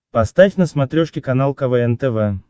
поставь на смотрешке канал квн тв